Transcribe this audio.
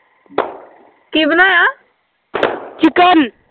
chicken